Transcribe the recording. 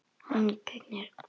Hann gegnir.